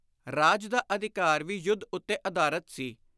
ਰਾਜ ਦਾ ਅਧਿਕਾਰ ਵੀ ਯੁੱਧ ਉੱਤੇ ਆਧਾਰਿਤ ਸੀ।